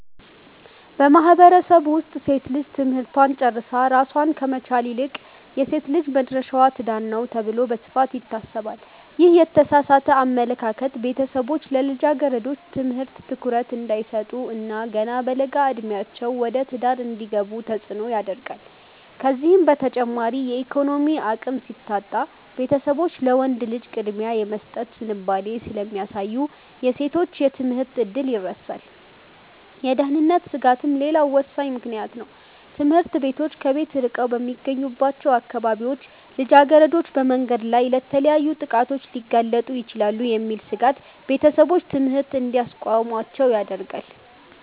በማህበረሰቡ ውስጥ ሴት ልጅ ትምህርቷን ጨርሳ ራሷን ከመቻል ይልቅ "የሴት ልጅ መድረሻዋ ትዳር ነው" ተብሎ በስፋት ይታሰባል። ይህ የተሳሳተ አመለካከት ቤተሰቦች ለልጃገረዶች ትምህርት ትኩረት እንዳይሰጡ እና ገና በለጋ ዕድሜያቸው ወደ ትዳር እንዲገቡ ተጽዕኖ ያደርጋል። ከዚህም በተጨማሪ የኢኮኖሚ አቅም ሲታጣ፣ ቤተሰቦች ለወንድ ልጅ ቅድሚያ የመስጠት ዝንባሌ ስለሚያሳዩ የሴቶች የትምህርት ዕድል ይረሳል። የደህንነት ስጋትም ሌላው ወሳኝ ምክንያት ነው፤ ትምህርት ቤቶች ከቤት ርቀው በሚገኙባቸው አካባቢዎች ልጃገረዶች በመንገድ ላይ ለተለያዩ ጥቃቶች ሊጋለጡ ይችላሉ የሚል ስጋት ቤተሰቦች ትምህርት እንዲያስቆሟቸው ያደርጋል።